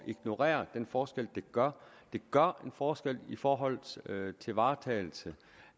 ignorere den forskel det gør det gør en forskel i forhold til varetagelse